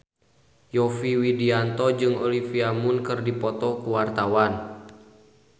Yovie Widianto jeung Olivia Munn keur dipoto ku wartawan